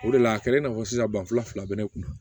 O de la a kɛra i n'a fɔ sisan ban fila bɛ ne kun na